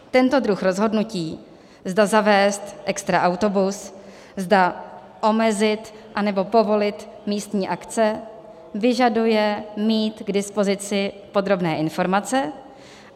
Tento druh rozhodnutí, zda zavést extra autobus, zda omezit, anebo povolit místní akce, vyžaduje mít k dispozici podrobné informace.